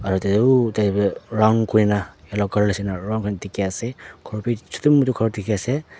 tadae round kurina yellow colour nishi na round kurina diki asae khor bi chutu mutu diki asae.